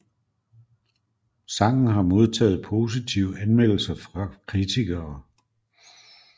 Sangen har modtaget positive anmeldelser fra kritikere